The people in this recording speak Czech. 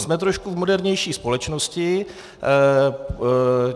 Jsme trošku v modernější společnosti.